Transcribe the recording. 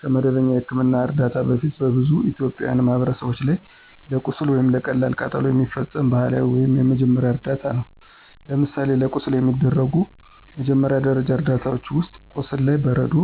ከመደበኛ የሕክምና እርዳታ በፊት በብዙ የኢትዮጵያ ማህበረሰቦች ላይ ለቁስል ወይም ለቀላል ቃጠሎ የሚፈጸሙ ባህላዊ ወይም የመጀመሪያ እርዳታ ነው። ለምሳሌ ለቁስል የሚደረጉ መጀመሪያ ደረጃ እርዳታዎች ውስጥ፦ ቁስሉ ላይ በረዶ